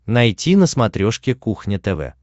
найти на смотрешке кухня тв